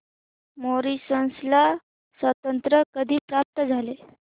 Mauritius ला स्वातंत्र्य कधी प्राप्त झाले